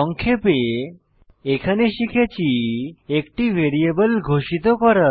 সংক্ষেপে এখানে শিখেছি একটি ভ্যারিয়েবল ঘোষিত করা